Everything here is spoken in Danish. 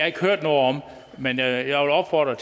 ikke hørt noget om men jeg vil opfordre